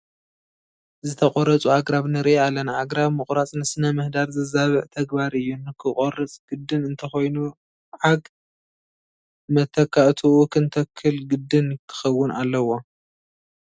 ዝተቆረፁ ኣግራብ ንርኢ ኣለና፡፡ ኣግራብ ምቑራፅ ንስነ ምህዳር ዘዛብዕ ተግባር እዩ፡፡ ክንቆርፅ ግድን እንተኾይኑ ዓግ መተካእትኡ ክንተክል ግድን ክኸውን ኣለዎ፡፡